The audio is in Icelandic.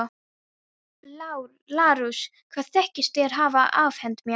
LÁRUS: Hvað þykist þér hafa afhent mér?